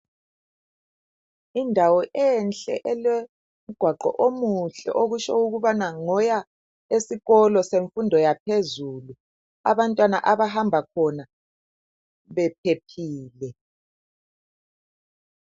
Indawo enhle elomgwaqo omuhle okutsho ukubana ngoya esikolo semfundo yaphezulu abantwana abahamba khona bephephile.